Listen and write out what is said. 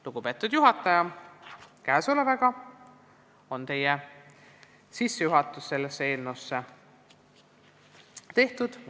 Lugupeetud juhataja, sissejuhatus on tehtud.